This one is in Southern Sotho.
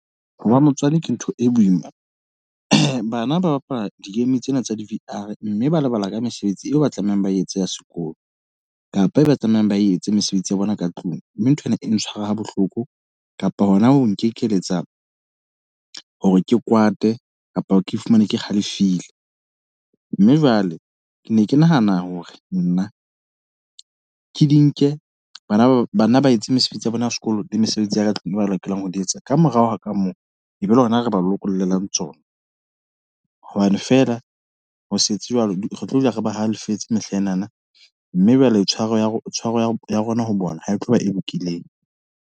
Ho ba motswadi ke ntho e boima. Bana ba bapala di-game tsena tsa di-V_R, mme ba lebala ka mesebetsi eo ba tlamehang ba etse ya sekolo. Kapa e ba tlamehang ba etse mesebetsi ya bona ka tlung. Mme nthwena e ntshwara ha bohloko, kapa hona ho nkeletsa hore ke kwate, kapa ke fumane ke halefile. Mme jwale ke ne ke nahana hore nna, ke di nke. Bana ba etse mesebetsi ya bona ya sekolo le mesebetsi ya ka tlung ba lokelang ho ho di etsa. Ka morao ka moo, e be ba hona re ba lokollelang tsona. Hobane feela ho se tswe jwalo retlo dula re ba halefetse mehlaenana. Mme jwale tshwaro ya tshwaro ya rona ho bona ha e tloba e lokileng.